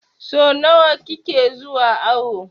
So nawa kike zuwa awo?